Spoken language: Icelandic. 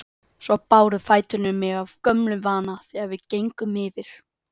Svo báru fæturnir mig af gömlum vana þegar við gengum yfir